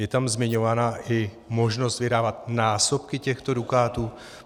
Je tam zmiňována i možnost vydávat násobky těchto dukátů?